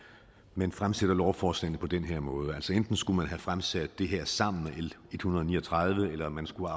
man fremsætter lovforslagene på den her måde altså enten skulle man have fremsat det her sammen med l en hundrede og ni og tredive eller man skulle